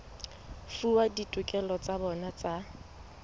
fuwa ditokelo tsa bona tsa